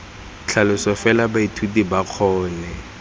tlhaloso fela baithuti ba kgone